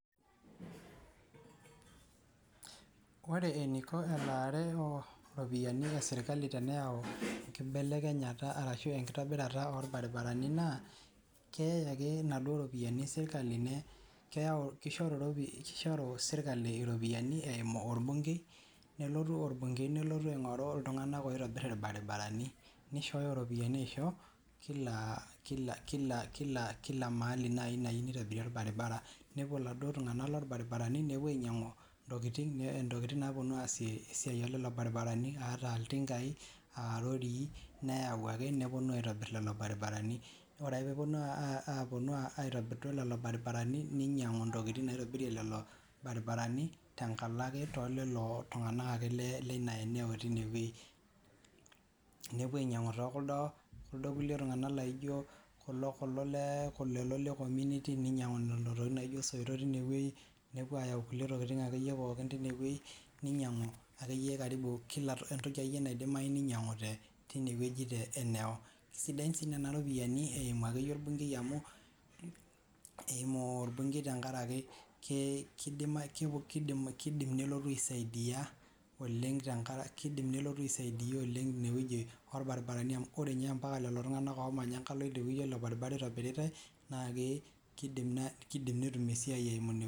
Ore eniko elaare oo ropiyiani esirkali peeu enkibekenyata ashu enkitobita oo baribarani naa keyai ake inaduo ropiyiani sirkali, kishoru sirkali iropiyiani eimu olbunkei, nelotu olbunkei nelotu ainkoru iltunganak oitobir ilbaribarani. Nishooyo iropiyiani aisho kila mahali naaji nayieu nitobiri olbaribara, nepuo iladuo duo tunganak loo baribarani nepuo ainyianku intokitin naaponu aasio esiai oolelo baribarani aa itinkai aa irorii neyau ake neponu aitobir lelo baribarani. Ore ake peeponu aitobir duo lelo baribarani ninyianku intokitin naaponu atobirie lelo baribarani tenkalo ake too lelo tunganak ake lina eneo teinewoi. Nepuo ainyianku tekuldo tunganak laijo lelo le community lelo tokitin laijo soito teinewoji nepuo aayau akeyie kulie tokitin teinewoji, ninyiaku akeyie karibu entoki akeyie naidimayu ninyiangu teinewoji eneo sidan sii nena ropiyiani eiumu akeyie olbunkei tenkaraki kiidim nelotu aisaidia inewoji oo baribarani mbaki ninye lelo tunganak oo manya enkalo oo lelo baribarani oitobiritai naa kiidim netumie esiai eimu inewoyi.